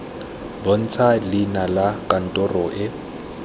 bontsha leina la kantoro e